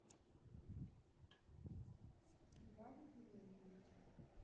геннадий климентьевич